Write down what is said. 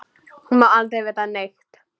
Hún má aldrei vita neitt.